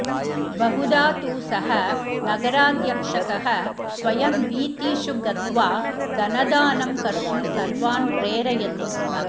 बहुधा तु सः नगराध्यक्षकः स्वयं वीथीषु गत्वा धनदानं कर्तुं सर्वान् प्रेरयति स्म